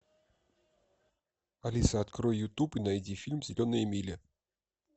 алиса открой ютуб и найди фильм зеленая миля